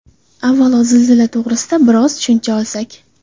Avvalo, zilzila to‘g‘risida biroz tushuncha olsak.